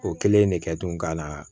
O kɛlen de kɛ tun gana